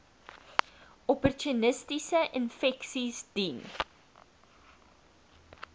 opportunistiese infeksies diens